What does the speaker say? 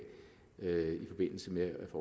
i forbindelse med at